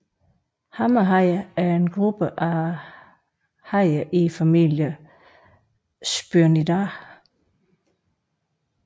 Hammerhajer er en gruppe af hajer i familien Sphyrnidae